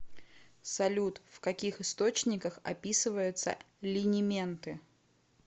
салют в каких источниках описывается линименты